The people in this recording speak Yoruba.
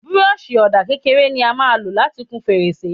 Bírọ́ọ̀ṣì ọ̀dà kékeré ni a máa lò láti kun fèrèsé.